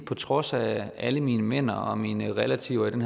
på trods af alle mine mener og min relativering